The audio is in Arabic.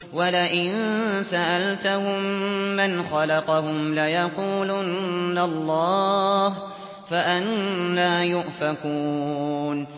وَلَئِن سَأَلْتَهُم مَّنْ خَلَقَهُمْ لَيَقُولُنَّ اللَّهُ ۖ فَأَنَّىٰ يُؤْفَكُونَ